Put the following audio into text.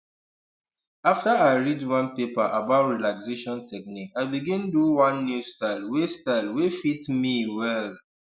after i read one paper about relaxation technique i begin do one new style wey style wey fit me well um